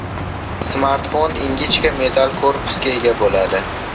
Smartfon ingichka metall korpusga ega bo‘ladi.